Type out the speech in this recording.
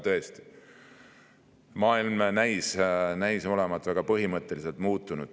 Tõesti, maailm näis olevat väga põhimõtteliselt muutunud.